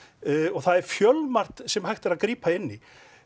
það er fjölmargt sem hægt er að grípa inn í